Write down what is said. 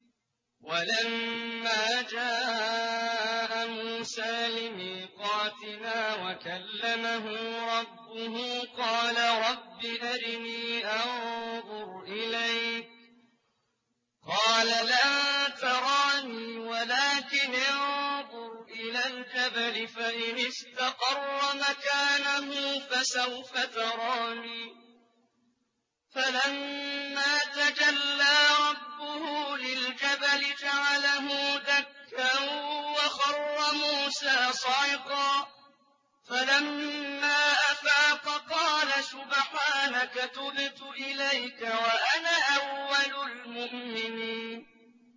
وَلَمَّا جَاءَ مُوسَىٰ لِمِيقَاتِنَا وَكَلَّمَهُ رَبُّهُ قَالَ رَبِّ أَرِنِي أَنظُرْ إِلَيْكَ ۚ قَالَ لَن تَرَانِي وَلَٰكِنِ انظُرْ إِلَى الْجَبَلِ فَإِنِ اسْتَقَرَّ مَكَانَهُ فَسَوْفَ تَرَانِي ۚ فَلَمَّا تَجَلَّىٰ رَبُّهُ لِلْجَبَلِ جَعَلَهُ دَكًّا وَخَرَّ مُوسَىٰ صَعِقًا ۚ فَلَمَّا أَفَاقَ قَالَ سُبْحَانَكَ تُبْتُ إِلَيْكَ وَأَنَا أَوَّلُ الْمُؤْمِنِينَ